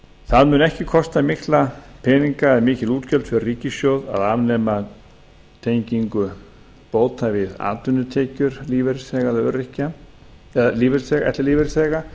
það mun ekki kosta mikla peninga eða mikil útgjöld fyrir ríkissjóð að afnema tengingu bóta við atvinnutekjur ellilífeyrisþega